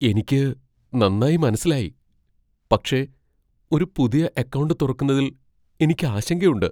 എനിക്ക് നന്നായി മനസ്സിലായി. പക്ഷെ, ഒരു പുതിയ അക്കൗണ്ട് തുറക്കുന്നതിൽ എനിക്ക് ആശങ്കയുണ്ട്.